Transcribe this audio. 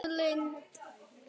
spurði Lind.